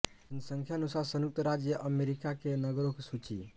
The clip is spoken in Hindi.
जनसंख्यानुसार संयुक्त राज्य अमरिका के नगरों की सूची